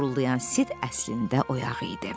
qurulayan sit əslində oyaq idi.